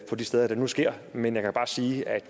på de steder det nu sker men jeg kan bare sige at